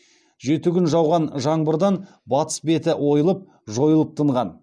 жеті күн жауған жаңбырдан батыс беті ойылып жойылып тынған